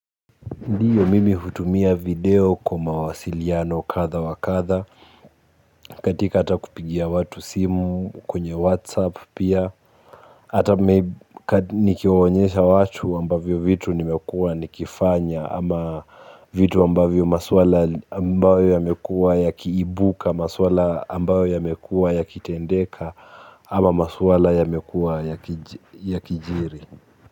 Ndiyo mimi hutumia video kwa mawasiliano kadha wa kadha, katika hata kupigia watu simu, kwenye whatsapp pia, hata nikiwaonyesha watu ambavyo vitu nimekuwa nikifanya, ama vitu ambavyo maswala ambayo yamekuwa yakiibuka, maswala ambayo yamekuwa yakitendeka, ama maswala yamekuwa yakijiri.